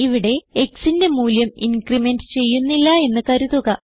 ഇവിടെ xന്റെ മൂല്യം ഇൻക്രിമെന്റ് ചെയ്യുന്നില്ല എന്ന് കരുതുക